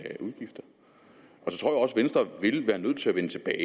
venstre vil være nødt til at vende tilbage